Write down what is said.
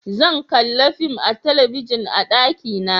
Zan kalla fim a talabijin a daki na